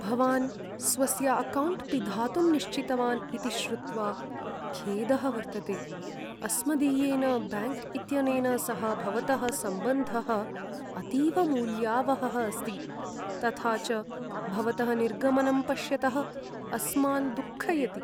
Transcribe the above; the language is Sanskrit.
भवान् स्वस्य अकौण्ट् पिधातुं निश्चितवान् इति श्रुत्वा खेदः वर्तते। अस्मदीयेन बैङ्क् इत्यनेन सह भवतः सम्बन्धः अतीव मूल्यावहः अस्ति, तथा च भवतः निर्गमनं पश्यतः अस्मान् दुःखयति।